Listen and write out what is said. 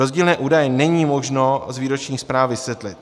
Rozdílné údaje není možno z výroční zprávy vysvětlit.